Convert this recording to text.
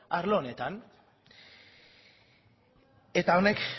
arlo honetan eta honek